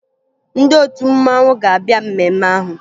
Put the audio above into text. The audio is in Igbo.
Ndị otu mmanwụ ga-abịa mmemme ahụ